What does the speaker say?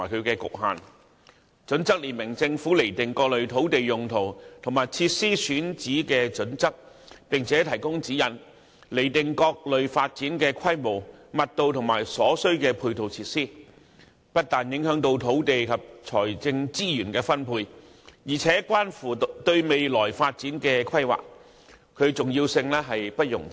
《規劃標準》列明政府釐定各類土地用途及設施選址的準則，並且提供指引，釐定各類發展的規模、密度及所須的配套設施，不但影響土地及財政資源的分配，而且關乎對未來發展的規劃，其重要性不容置疑。